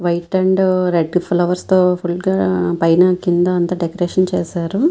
White and red flowers తో full గా పైన కింద అంత డెకరేషన్ చేశారు.